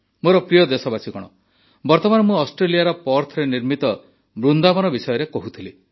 ମୋର ପ୍ରିୟ ଦେଶବାସୀଗଣ ବର୍ତମାନ ମୁଁ ଅଷ୍ଟ୍ରେଲିଆର ପର୍ଥରେ ନିର୍ମିତ ବୃନ୍ଦାବନ ବିଷୟରେ କହୁଥିଲି